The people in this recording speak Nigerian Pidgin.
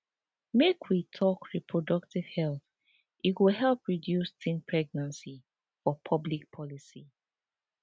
make we talk reproductive health e go help reduce teen pregnancy for public policy